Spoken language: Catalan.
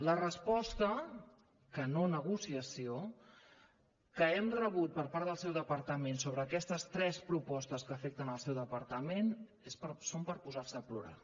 la resposta que no negociació que hem rebut per part del seu departament sobre aquestes tres propostes que afecten el seu departament són per posar se a plorar